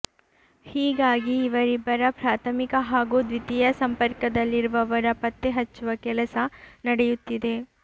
ಹೀಗಾಗಿ ಇವರಿಬ್ಬರ ಪ್ರಾಥಮಿಕ ಹಾಗೂ ದ್ವಿತೀಯ ಸಂಪರ್ಕದಲ್ಲಿರುವವರ ಪತ್ತೆ ಹಚ್ಚುವ ಕೆಲಸ ನಡೆಯುತ್ತಿದೆ